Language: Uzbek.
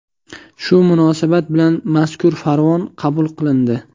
Shu munosabat bilan mazkur farmon qabul qilindi.